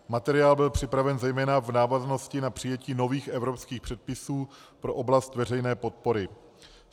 Materiál byl připraven zejména v návaznosti na přijetí nových evropských předpisů pro oblast veřejné podpory.